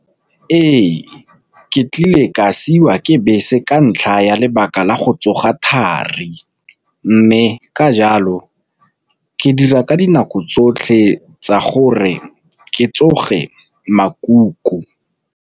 Ee, ke tlile ka siwa ke bese ka ntlha ya lebaka la go tsoga thari, mme ka jalo ke dira ka dinako tsotlhe tsa gore ke tsoge makuku.